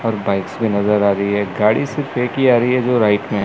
और बाइक्स भी नजर आ रही है गाड़ी सिर्फ एक ही आ रही जो राइट में--